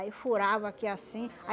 Aí furava aqui, assim.